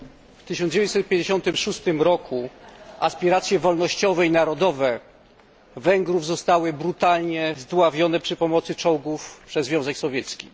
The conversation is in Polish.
W 1956 r. aspiracje wolnościowe i narodowe Węgrów zostały brutalnie zdławione przy pomocy czołgów przez Związek Sowiecki.